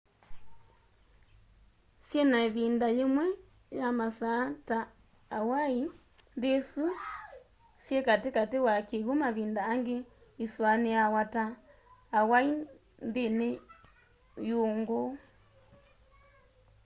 syina ivinda yimwe ya masaa ta hawaii nthi isu syi kati kati wa kiw'u mavinda angi isuaniawa ta hawaii nthi y'uungu